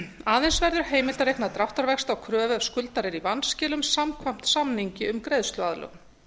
aðeins verður heimilt að reikna dráttarvexti á kröfu ef skuldari er í vanskilum samkvæmt samningi um greiðsluaðlögun